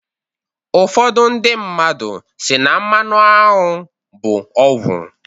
Ufọdụ ndị mmadu si na mmanụ aṅwụ bụ ọgwụ"